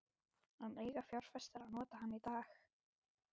En eiga fjárfestar að nota hann í dag?